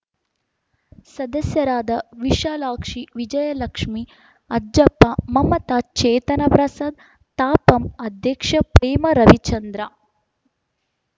ಸದಸ್ಯರಾದ ವಿಶಾಲಾಕ್ಷಿ ವಿಜಯಲಕ್ಷ್ಮೇ ಅಜ್ಜಪ್ಪ ಮಮತಾ ಚೇತನಾ ಪ್ರಸಾದ್‌ ತಾಪಂ ಅಧ್ಯಕ್ಷೆ ಪ್ರೇಮಾ ರವಿಚಂದ್ರ